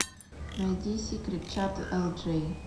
найди сикрет чат элджей